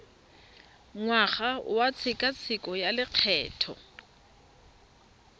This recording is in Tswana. ngwaga wa tshekatsheko ya lokgetho